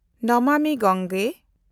ᱱᱟᱢᱟᱢᱤ ᱜᱟᱝᱜᱮ